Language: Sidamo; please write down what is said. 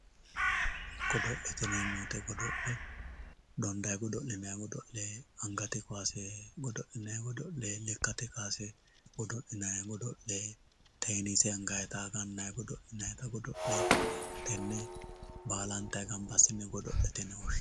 godo'lete yineemmo woyiite godo'le dondayi godo'linayi godo'le angate kaase godo'linayi godo'le lekkate kaase godo'linayi godo'le teennise angayiita gannayi godo'linayi godo'le tenne baalanta gamba assine godo'lete yine woshshinanni